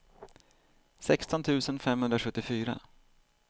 sexton tusen femhundrasjuttiofyra